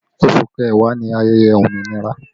Oṣù kẹwàá ni ayẹyẹ òmìnira